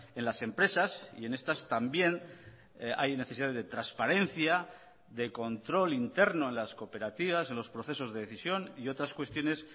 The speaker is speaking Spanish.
en las empresas y en estas también hay necesidades de transparencia de control interno en las cooperativas en los procesos de decisión y otras cuestiones